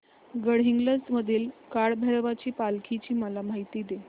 गडहिंग्लज मधील काळभैरवाच्या पालखीची मला माहिती दे